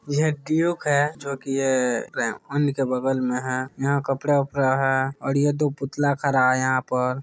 यह ड्यूक है जो कि हम ही के बगल में है। यहाँ कपड़ा - वपड़ा है। और यहां दो पुतला खड़ा है यहाँ पर।